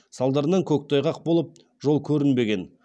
салдарынан көктайғақ болып жол көрінбеген